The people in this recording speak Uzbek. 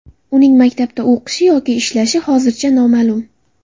Uning maktabda o‘qishi yoki ishlashi hozircha noma’lum.